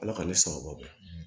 Ala ka ne sababu